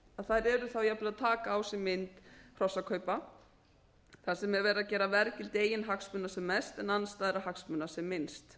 að þær eru þá jafnvel að taka á sig mynd hrossakaupa þar sem er verið að gera verðgildi eigin hagsmuna sem mest en andstæðra hagsmuna sem minnst